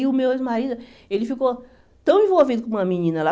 E o meu ex-marido, ele ficou tão envolvido com uma menina lá.